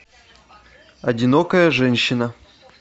одинокая женщина